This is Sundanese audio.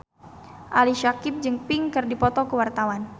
Ali Syakieb jeung Pink keur dipoto ku wartawan